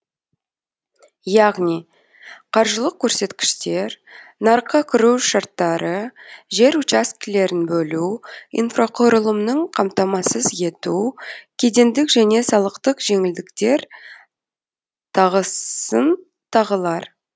яғни қаржылық көрсеткіштер нарыққа кіру шарттары жер учаскелерін бөлу инфрақұрылымнын қамтамасыз ету кедендік және салықтық жеңілдіктер тағысын тағылар